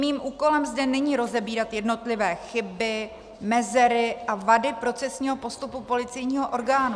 Mým úkolem zde není rozebírat jednotlivé chyby, mezery a vady procesního postupu policejního orgánu.